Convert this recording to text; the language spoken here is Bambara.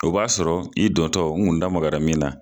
O b'a sɔrɔ i dɔntɔ, n kun damagara min na